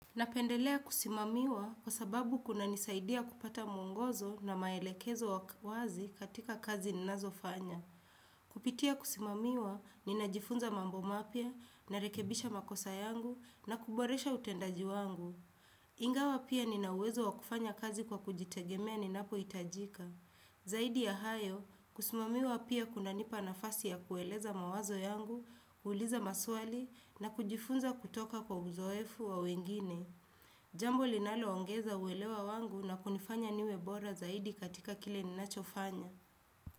Napendelea kusimamiwa kwa sababu kunanisaidia kupata mungozo na maelekezo wazi katika kazi ninazo fanya. Kupitia kusimamiwa, ninajifunza mambo mapia, narekebisha makosa yangu na kuboresha utendaji wangu. Ingawa pia ninauwezo wakufanya kazi kwa kujitegemea ninapoitajika. Zaidi ya hayo, kusimamiwa pia kuna nipa nafasi ya kueleza mawazo yangu, uliza maswali na kujifunza kutoka kwa uzoefu wa wengine. Jambo linalo ongeza uwelewa wangu na kunifanya niwebora zaidi katika kile ninacho fanya.